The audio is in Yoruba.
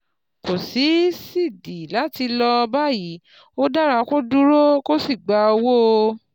Kò sídìí láti ṣí lọ báyìí, ó dára kó o dúró kó o sì gba owó